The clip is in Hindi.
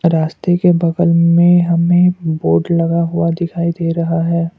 रास्ते के बगल में हमें बोर्ड लगा हुआ दिखाई दे रहा है।